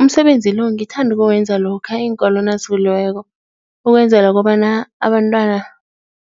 Umsebenzi lo ngithanda ukuwenza lokha iinkolo nazivuliweko, ukwenzela kobana abantwana